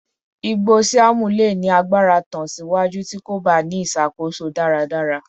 igbo Siam le ni agbara tan siwaju ti ko ba ni iṣakoso daradara